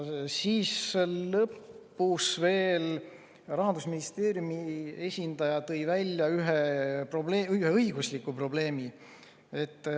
Lõpuks tõi Rahandusministeeriumi esindaja välja ühe õigusliku probleemi.